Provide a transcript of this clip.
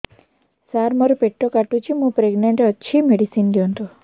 ସାର ମୋର ପେଟ କାଟୁଚି ମୁ ପ୍ରେଗନାଂଟ ଅଛି ମେଡିସିନ ଦିଅନ୍ତୁ